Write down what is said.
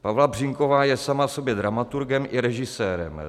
Pavla Břínková je sama sobě dramaturgem i režisérem.